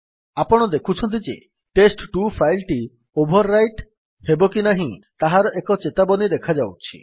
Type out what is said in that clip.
ଆପଣ ଦେଖୁଛନ୍ତି ଯେ ଟେଷ୍ଟ2 ଫାଇଲ୍ ଟି ଓଭର୍ ରାଇଟ୍ ହେବ କି ନାହିଁ ତାହାର ଏକ ଚେତାବନୀ ଦେଖାଯାଉଛି